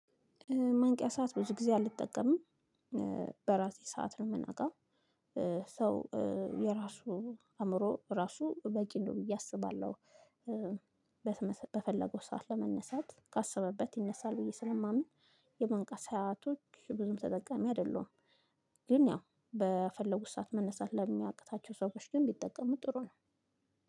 መንቂያ ሰዓት ብዙ ጊዜ አልጠቀምም በራሴ ሰዓት ነው የምነቃው። ሰው የራሱ አእምሮ ራሱ በቂ ነው ብዬ አስባለሁ። በፈለገው ሰዓት ለመነሳት ካሰበበት ይነሳል ብዬ ስለማምን የመንቃ ሰአቶች ብዙም ተጠቃሚ አይደለሁም። ግን ያው በፈለጉት ሰዓት መነሳት ለሚያቅታቸው ሰዎች ግን ቢጠቀሙ ጥሩ ነው።